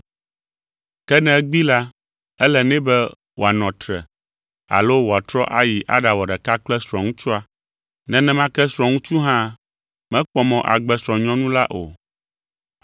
Ke ne egbee la, ele nɛ be wòanɔ tre alo wòatrɔ ayi aɖawɔ ɖeka kple srɔ̃ŋutsua. Nenema ke srɔ̃ŋutsu hã mekpɔ mɔ agbe srɔ̃nyɔnu la o.